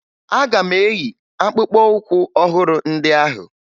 Aga m eyi akpụkpọụkwụ ọhụrụ ndị ahụ